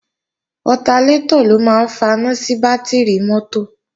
Ọtalétọ̀ ló máa ń faná sí bátìrì mọ́tò